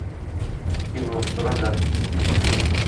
кино суррогаты включай